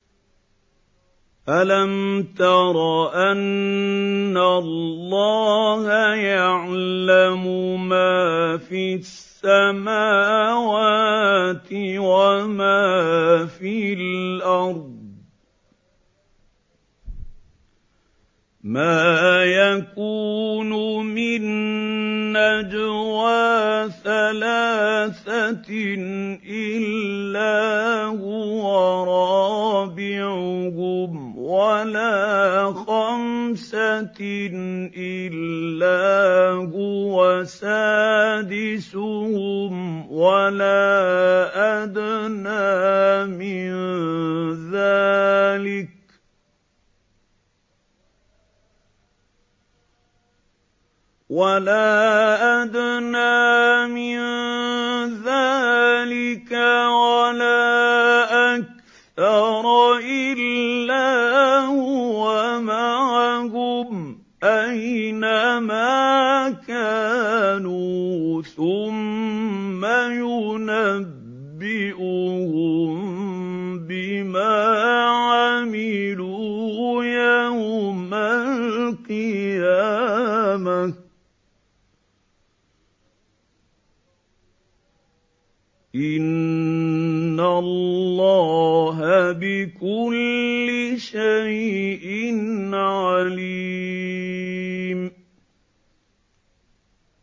أَلَمْ تَرَ أَنَّ اللَّهَ يَعْلَمُ مَا فِي السَّمَاوَاتِ وَمَا فِي الْأَرْضِ ۖ مَا يَكُونُ مِن نَّجْوَىٰ ثَلَاثَةٍ إِلَّا هُوَ رَابِعُهُمْ وَلَا خَمْسَةٍ إِلَّا هُوَ سَادِسُهُمْ وَلَا أَدْنَىٰ مِن ذَٰلِكَ وَلَا أَكْثَرَ إِلَّا هُوَ مَعَهُمْ أَيْنَ مَا كَانُوا ۖ ثُمَّ يُنَبِّئُهُم بِمَا عَمِلُوا يَوْمَ الْقِيَامَةِ ۚ إِنَّ اللَّهَ بِكُلِّ شَيْءٍ عَلِيمٌ